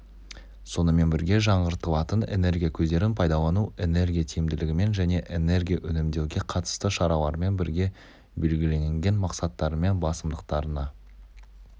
сонымен бірге жаңғыртылатын энергия көздерін пайдалану энергия тиімділігімен және энергия үнемдеуге қатысты шаралармен бірге белгіленген мақсаттарымен басымдықтарына